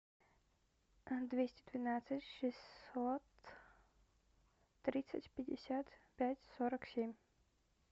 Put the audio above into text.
двести двенадцать шестьсот тридцать пятьдесят пять сорок семь